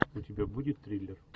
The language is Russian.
у тебя будет триллер